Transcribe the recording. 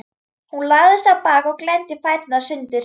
Hún lagðist á bakið og glennti fæturna sundur.